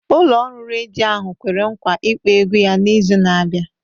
Ụlọ ọrụ redio ahụ kwere nkwa ịkpọ egwu ya n'izu na-abịa